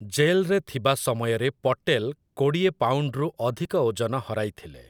ଜେଲ୍‌ରେ ଥିବା ସମୟରେ ପଟେଲ୍ କୋଡ଼ିଏ ପାଉଣ୍ଡ୍‌ରୁ ଅଧିକ ଓଜନ ହରାଇଥିଲେ ।